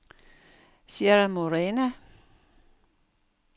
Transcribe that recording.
Sierra Morena